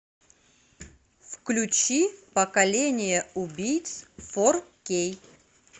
включи поколение убийц фор кей